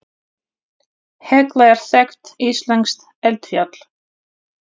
Hekla er þekkt íslenskt eldfjall.